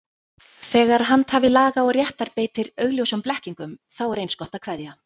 Þegar handhafi laga og réttar beitir augljósum blekkingum, þá er eins gott að kveðja.